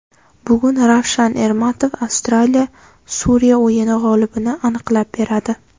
Bugun Ravshan Ermatov Avstraliya Suriya o‘yini g‘olibini aniqlab beradi.